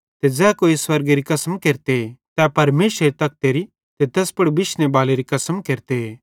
ते ज़ै कोई स्वर्गेरी कसम केरते तै परमेशरेरे तखतेरी ते तैस पुड़ बिशने बालेरी कसम केरते